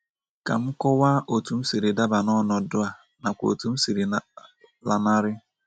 Ka m kọwaa otú m siri daba n’ọnọdụ a nakwa otú m siri lanarị.